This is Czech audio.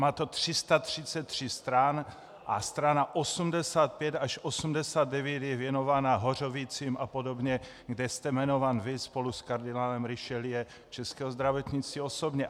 Má to 333 stran a strana 85 až 89 je věnována Hořovicím a podobně, kde jste jmenován vy spolu s kardinálem Richelieu českého zdravotnictví osobně.